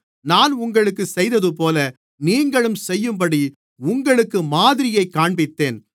நான் உங்களுக்குச் செய்ததுபோல நீங்களும் செய்யும்படி உங்களுக்கு மாதிரியைக் காண்பித்தேன்